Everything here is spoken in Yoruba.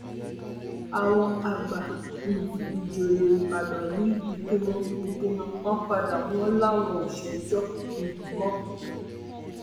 àwọn àgbà um ìjòyè ìbàdàn yí ìpinnu ìpinnu wọn padà wọn láwọn ò ṣèjọ um mọ